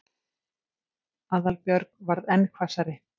Aðalbjörg varð enn hvassari.